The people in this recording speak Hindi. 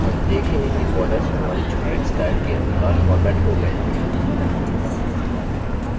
हम देखेंगे कि borders हमारी चुनित स्टाइल के अनुसार formatted हो गये हैं